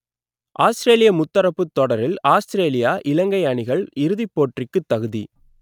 ஆஸ்த்திரேலிய முத்தரப்புத் தொடரில் ஆத்திரேலியா இலங்கை அணிகள் இறுதிப் போட்டிக்குத் தகுதி